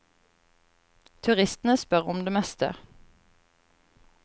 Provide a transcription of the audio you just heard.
Turistene spør om det meste.